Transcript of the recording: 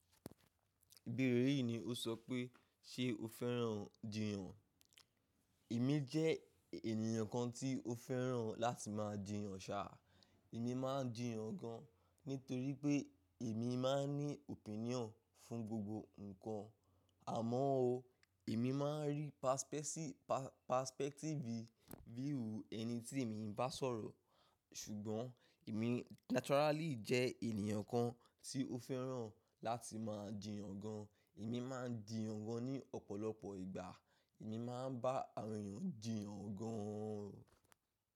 Ìbéèrè yìí ni ó sọ pé, ṣe o fẹ́ràn jiyan? Èmi jẹ́ ènìyàn kan tí ó fẹ́ràn láti máa jiyan ṣà. Èmi máa ń jiyan gan, nítorí pé èmi máa ń ní opinion fún gbogbo nǹkan. Àmọ́ ó, èmi máa ń rí perspective view ẹni tí èmi nbá sọ̀rọ̀. Ṣùgbọ́n èmi naturally jẹ́ ènìyàn kan tí ó fẹ́ràn láti máa jiyan gan. Èmi máa ń jiyan gan ní ọ̀pọ̀lọpọ̀ ìgbà. Èmi máa ń bá àwọn èèyàn jiyan gan o.